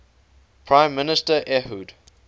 prime minister ehud